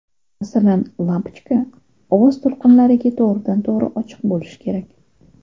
Masalan, lampochka ovoz to‘lqinlariga to‘g‘ridan to‘g‘ri ochiq bo‘lishi kerak.